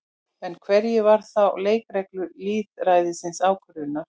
En hverjar eru þá leikreglur lýðræðislegrar ákvörðunar?